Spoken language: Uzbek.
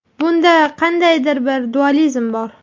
Bunda qandaydir bir dualizm bor.